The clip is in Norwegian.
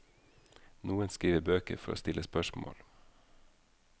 Noen skriver bøker for å stille spørsmål.